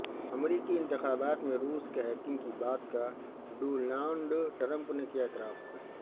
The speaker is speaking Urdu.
امریکی انتخابات میں روس کے ہیکنگ کی بات کا ڈونالڈ ٹرمپ نے کیا اعتراف